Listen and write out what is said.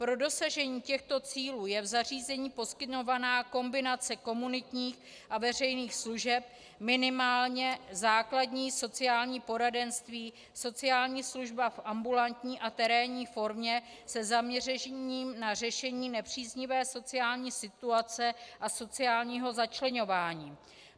Pro dosažení těchto cílů je v zařízení poskytovaná kombinace komunitních a veřejných služeb, minimálně základní sociální poradenství, sociální služba v ambulantní a terénní formě se zaměřením na řešení nepříznivé sociální situace a sociálního začleňování.